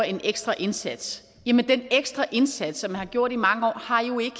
en ekstra indsats jamen den ekstra indsats som man har gjort i mange år har jo ikke